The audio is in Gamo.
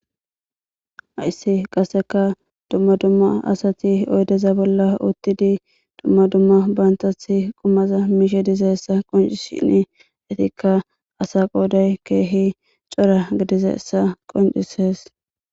Hayssi qasseka dumma dumma asati oydeza bolla uttidi dumma dumma bantathi qumaza miishe dizessa qoncishin etikka asa qooday keehi cora gidize essa qoncisees.